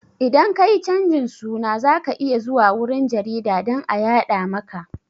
Idan ka yi canjin suna za ka iya zuwa wurin jarida dan a yaɗa maka